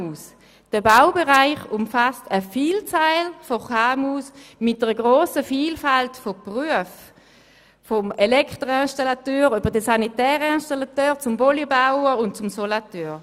Der Baubereich umfasst eine Vielzahl von KMU mit einer grossen Vielfalt von Berufen wie beispielsweise Elektroinstallateur, Sanitärinstallateur, Polybauer oder Solateur.